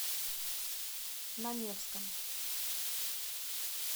на невском